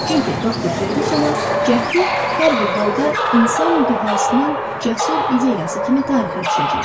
Çünki doktor Ferqusonun cəhdi hər bir halda insan dühasının cəsur ideyası kimi tarixə düşəcək.